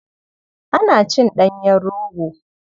Ana cin ɗanyen rogo.